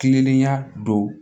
Kilenlenya dɔw